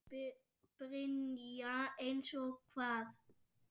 Brynja: Eins og hvað?